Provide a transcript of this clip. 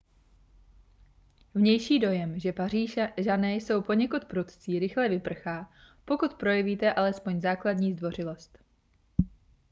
vnější dojem že pařížané jsou poněkud prudcí rychle vyprchá pokud projevíte alespoň základní zdvořilost